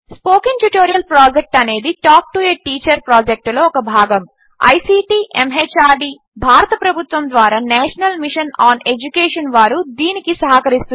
spoken tutorial project అనేది talk to a teacher ప్రాజెక్ట్లో ఒక భాగము ఐసీటీ ఎంహార్డీ భారత ప్రభుత్వము ద్వారా నేషనల్ మిషన్ ఆన్ ఎడ్యుకేషన్ వారు దీనికి సహకరిస్తున్నారు